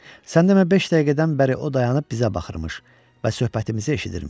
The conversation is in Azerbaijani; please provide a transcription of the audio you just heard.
Sən demə beş dəqiqədən bəri o dayanıb bizə baxırmış və söhbətimizi eşidirmiş.